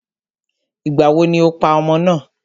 Ìgbàwo ni o pa ọmọ náà?